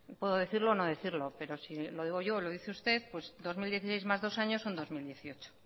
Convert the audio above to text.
puedo decirlo o no decirlo pero si lo digo yo o lo dice usted pues dos mil dieciséis más dos años son dos mil dieciocho